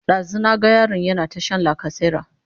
ɗazun na ga yaron yana ta Shan lacasera